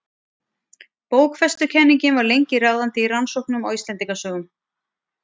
Bókfestukenningin var lengi ráðandi í rannsóknum á Íslendingasögum.